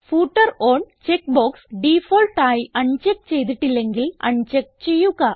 footer on check box default ആയി uncheck ചെയ്തിട്ടില്ലെങ്കിൽ uncheck ചെയ്യുക